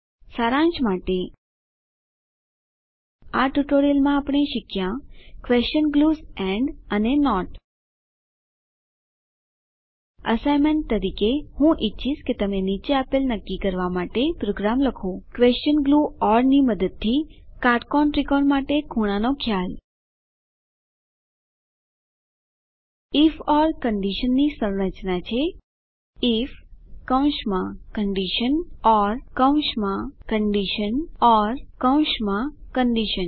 સારાંશ માટે આ ટ્યુટોરીયલમાં આપણે શીખ્યા ક્વેશન ગ્લુઝ એન્ડ અને નોટ એસાઈનમેંટ તરીકે હું ઈચ્છીશ કે તમે નીચે આપેલ નક્કી કરવાં માટે પ્રોગ્રામ લખો ક્વેશન ગ્લૂ ઓર ની મદદથી કાટકોણ ત્રિકોણ માટે ખૂણાનો ખ્યાલ આઇએફ ઓર કંડીશનની સંરચના છે આઇએફ કૌંસમાં કન્ડિશન ઓર કૌંસમાં કન્ડિશન ઓર કૌંસમાં કન્ડિશન